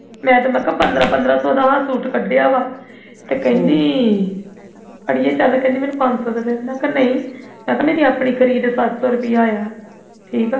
ਮੈਂ ਤੇ ਕਿਹਾ ਪੰਦਰਾਂ ਪੰਦਰਾਂ ਸੌ ਦਾ ਇਹ ਸੂਟ ਕੰਡਿਆਂ ਵਾ ਤੇ ਕਹਿੰਦੀ ਅੜੀਏ ਚੱਲ ਮੈਨੂੰ ਪੰਜ ਸੌ ਦਾ ਦਾਦੇ ਮੈਂ ਕਿਹਾ ਨਹੀਂ ਮੈਂ ਕਿਹਾ ਮੇਰੀ ਆਪਣੀ ਖਰੀਦ ਸੱਤ ਸੌ ਰੁਪਿਆ ਆ ਠੀਕ ਆ